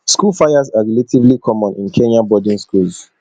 school fires are relatively common in kenyan boarding schools